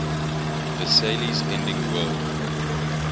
versailles ending world